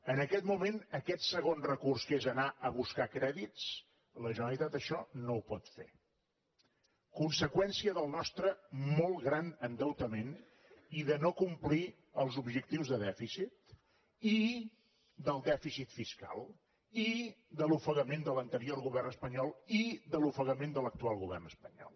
en aquest moment aquest segon recurs que és anar a buscar crèdits la generalitat això no ho pot fer conseqüència del nostre molt gran endeutament i de no complir els objectius de dèficit il’ofegament de l’anterior govern espanyol iment de l’actual govern espanyol